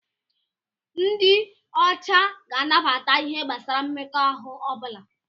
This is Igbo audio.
Ndị ọcha ga-anabata ihe gbasara mmekọahụ ọ bụla.